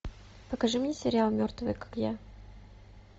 покажи мне сериал мертвые как я